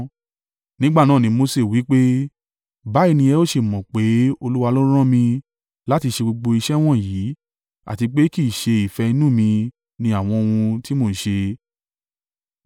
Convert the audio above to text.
Nígbà náà ni Mose wí pé, “Báyìí ni ẹ ó ṣe mọ̀ pé Olúwa ló rán mi láti ṣe gbogbo iṣẹ́ wọ̀nyí àti pé kì í ṣe ìfẹ́ inú mi ni àwọn ohun tí mò ń ṣe.